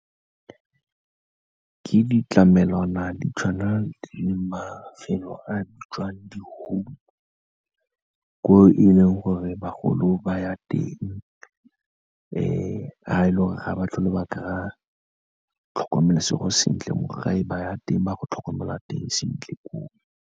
Ke ditlamelwana di tshwana le mafelo a bitswang di-home, ko e leng gore bagolo ba ya teng, fa e le gore ga ba tlhole ba kry-a tlhokomelo segolosentle mo gae, ba ya teng ba go tlhokomelwa teng sentle ko o.